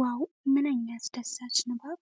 ዋው! ምንኛ አስደሳች ንባብ!